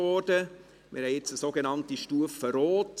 wir haben jetzt eine sogenannte Stufe Rot.